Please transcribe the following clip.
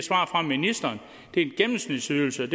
en gennemsnitsydelse